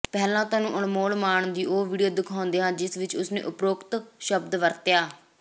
ਪਹਿਲਾਂ ਤੁਹਾਨੂੰ ਅਨਮੋਲ ਮਾਨ ਦੀ ਉਹ ਵੀਡੀਓ ਦਿਖਾਉਂਦੇ ਹਾਂ ਜਿਸ ਵਿਚ ਉਸਨੇ ਉਪਰੋਕਤ ਸ਼ਬਦ ਵਰਤਿਆ